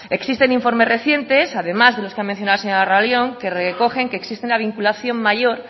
existen informes recientes además de los que ha mencionado la señora larrion que recogen que existe una vinculación mayor